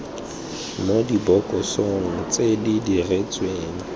mo dibokosong tse di diretsweng